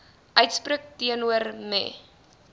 uitspreek teenoor me